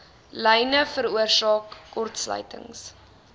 lyne veroorsaak kortsluitings